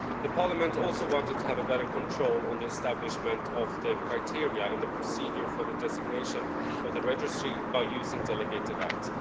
Parliament also wanted to have better control on the establishment of the criteria and the procedure for the designation of the registry by using delegated acts.